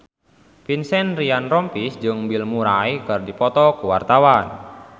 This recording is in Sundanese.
Vincent Ryan Rompies jeung Bill Murray keur dipoto ku wartawan